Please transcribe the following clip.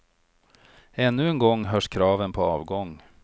Ännu en gång hörs kraven på avgång.